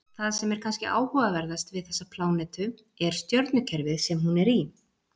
Það sem er kannski áhugaverðast við þessa plánetu er stjörnukerfið sem hún er í.